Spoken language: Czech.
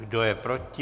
Kdo je proti?